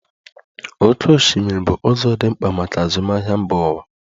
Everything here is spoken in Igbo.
Oké osimiri bụ ụzọ dị mkpa maka azụmahịa mba ụwa.